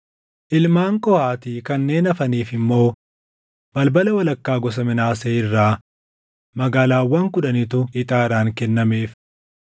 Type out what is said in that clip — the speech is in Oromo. Ilmaan Qohaati kanneen hafaniif immoo balbala walakkaa gosa Minaasee irraa magaalaawwan kudhanitu ixaadhaan kennameef.